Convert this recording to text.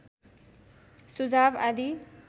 सुझाव आदि